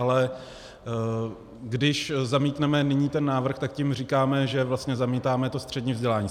Ale když zamítneme nyní ten návrh, tak tím říkáme, že vlastně zamítáme to střední vzdělání.